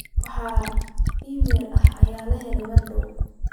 wax iimayl ah ayaa helay mar dhaw